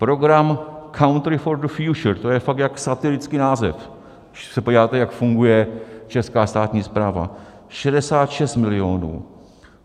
Program Country for the Future, to je fakt jak satirický název, když se podíváte, jak funguje česká státní správa, 66 milionů.